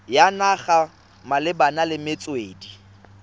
ya naga malebana le metswedi